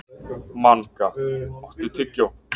Manga, áttu tyggjó?